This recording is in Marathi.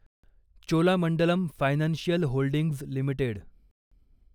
Cholamandalam financial holdings limited